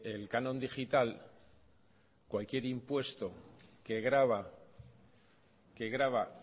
el canon digital cualquier impuesto que grava